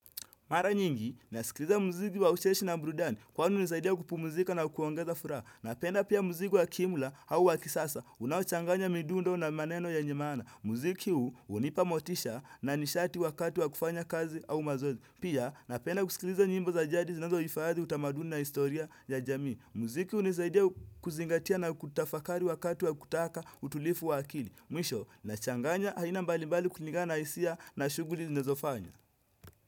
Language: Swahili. Mara nyingi, nasikiliza muziki wa ucheshi na brudani, kwani nisaidia kupu muzika na kuongeza furaha. Napenda pia muziki wa kimula au wakisasa, unawachanganya midundo na maneno ya nyemana. Muziki hu, unipa motisha na nishati wakati wa kufanya kazi au mazozi. Pia, napenda kusikiliza nyimbo za jadi zinazo ifaadhi utamaduni na historia ya jami. Muziki hu nisaidia kuzingatia na kutafakari wakati wa kutaka utulifu wakili. Mwisho, nachanganya haina mbali mbali kunigana isia na shuguri zinezofanya.